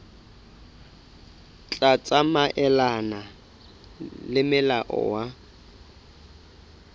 tla tsamaelana le molao wa